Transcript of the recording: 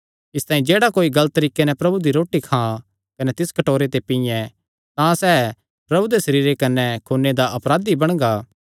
इसतांई जेह्ड़ा कोई गलत तरीके नैं प्रभु दी रोटी खां कने तिस कटोरे ते पींये तां सैह़ प्रभु दे सरीरे कने खूने दा अपराधी बणगा